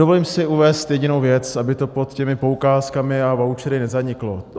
Dovolím si uvést jedinou věc, aby to pod těmi poukázkami a vouchery nezaniklo.